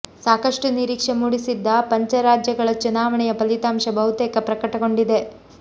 ಸಾಕಷ್ಟು ನಿರೀಕ್ಷೆ ಮೂಡಿಸಿದ್ದ ಪಂಚ ರಾಜ್ಯಗಳ ಚುನಾವಣೆಯ ಫಲಿತಾಂಶ ಬಹುತೇಕ ಪ್ರಕಟಗೊಂಡಿದೆ